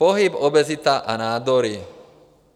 Pohyb, obezita a nádory.